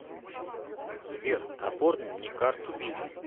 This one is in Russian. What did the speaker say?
сбер оформи мне карту виза